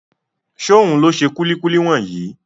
Ṣóhun ló ṣe kúlíkúlí wọ̀nyí?